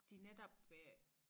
De netop øh